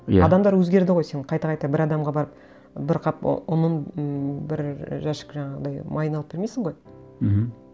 иә адамдар өзгерді ғой сен қайта қайта бір адамға барып бір қап ұнын ыыы бір жәшік жаңағыдай майын алып бермейсің ғой мхм